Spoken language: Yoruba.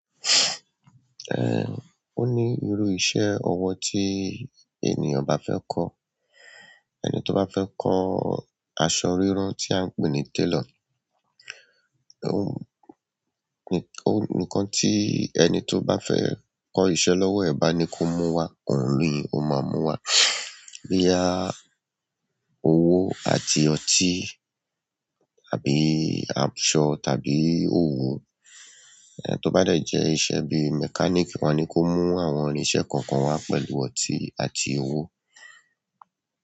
Eh, o ní irú iṣẹ́ ọwọ́ tí ènìyàn bá fẹ́ kọ́, ẹni tó bá fẹ́ kọ́ aṣọ rírán tí à ń pè ní tailor, ó-n-ò-nìkan tí ẹni tó bá fẹ́ kọ́ iṣẹ́ lọ́wọ́ ẹ̀ bá ni kó mú wá, òun ni ó máa mú wá. Boyá owó àti ọtí tàbí aṣọ tàbí òwú, ẹni tó bá jẹ́ iṣẹ́ bí mechanic wá ni kó mú àwọn irinṣẹ́ kan kan wá pẹ̀lú ọtí àti owó.